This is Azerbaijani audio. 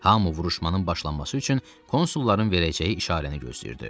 Hamı vuruşmanın başlanması üçün konsulların verəcəyi işarəni gözləyirdi.